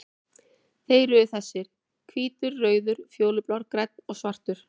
Þeir eru þessir: Hvítur, rauður, fjólublár, grænn og svartur.